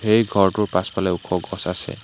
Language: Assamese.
এই ঘৰটোৰ পাছফালে ওখ গছ আছে।